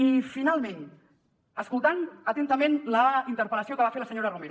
i finalment escoltant atentament la interpel·lació que va fer la senyora romero